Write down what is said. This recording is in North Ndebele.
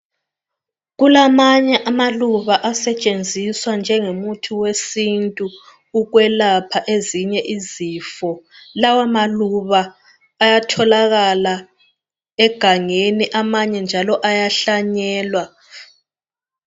Kulamanye amaluba asetshenziswa njengemuthi wesintu ukwelapha ezinye izifo, lawa maluba ayatholakala egangeni amanye njalo ayahlanyelwa.